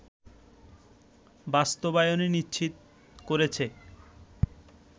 বাস্তবায়ন নিশ্চিত করেছে